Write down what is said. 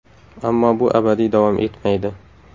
Ammo bu abadiy davom etmaydi.